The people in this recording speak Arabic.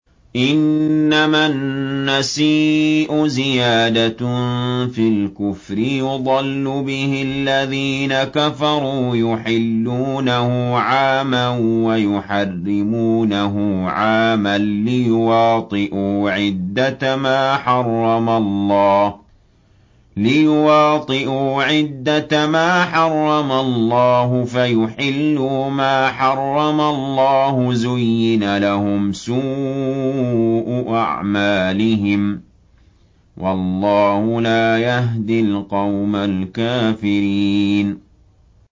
إِنَّمَا النَّسِيءُ زِيَادَةٌ فِي الْكُفْرِ ۖ يُضَلُّ بِهِ الَّذِينَ كَفَرُوا يُحِلُّونَهُ عَامًا وَيُحَرِّمُونَهُ عَامًا لِّيُوَاطِئُوا عِدَّةَ مَا حَرَّمَ اللَّهُ فَيُحِلُّوا مَا حَرَّمَ اللَّهُ ۚ زُيِّنَ لَهُمْ سُوءُ أَعْمَالِهِمْ ۗ وَاللَّهُ لَا يَهْدِي الْقَوْمَ الْكَافِرِينَ